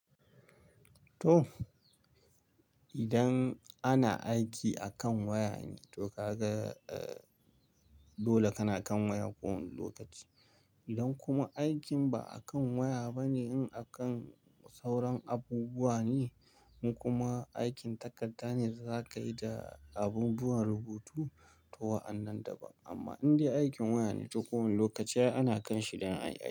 To, idan ana aiki akan waya ne, to kaga, eh, dole kana kan wayan ko wana lokaci. Idan kuma aikin ba akan waya bane, in akan sauran abubuwa ne, in kuma aikin takarda ne da zaka yi da abubuwan rubutu, to wa'annan daban. Amma in dai aikin waya ne, to ko wana lokaci ai ana kanshi dan a yi.